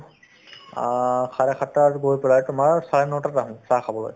অ, চাৰে সাতটাত গৈ পেলাই তোমাৰ চাৰে নটাত আহো চাহ খাবলৈ